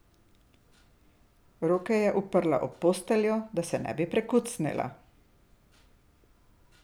Roke je uprla ob posteljo, da se ne bi prekucnila.